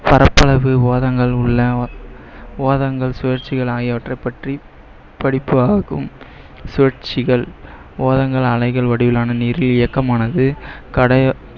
பரப்பளவு சுழற்சிகள் ஆகியவற்றை பற்றி படிப்பாகும். சுழற்சிகள் அலைகள் வடிவிலான